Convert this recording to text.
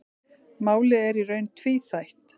Málið er í raun tvíþætt.